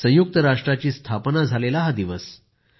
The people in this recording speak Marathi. संयुक्त राष्ट्राची स्थापना झालेला हा दिवस आहे